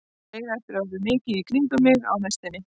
Þær eiga eftir að vera mikið í kringum mig á næstunni.